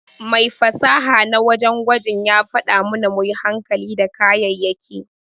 Mai fasaha na wajen gwaji ya faɗa mana muyi hankali da kayayaki.